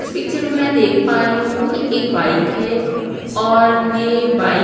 इस पिक्चर में देख पा रही हूं ये एक बाइक है और यहां बाइक --